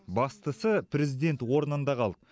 бастысы президент орнында қалды